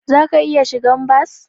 Zaka iya shigan bas.